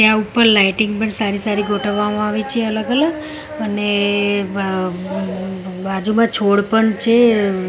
ત્યાં ઉપર લાઈટિંગ પણ સારી સારી ગોઠવવામાં આવી છે અલગ અલગ અને બ_બ_બાજુમાં છોડ પણ છે.